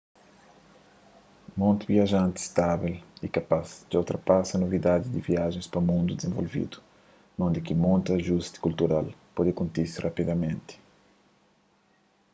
monti viajanti stável y kapaz dja ultrapasa novidadi di viajens pa mundu dizenvolvidu undi ki monti ajusti kultural pode kontise rapidamenti